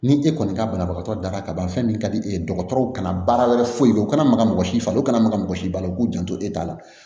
Ni e kɔni ka banabagatɔ daga ka ban fɛn min ka di e ye dɔgɔtɔrɔw kana baara wɛrɛ foyi o kana maga mɔgɔ si falen u kana maga mɔgɔ si bali u k'u janto e ta la